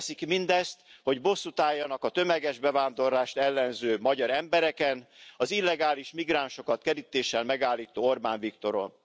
Azért teszik mindezt, hogy bosszút álljanak a tömeges bevándorlást ellenző magyar embereken, az illegális migránsokat kerítéssel megállító Orbán Viktoron.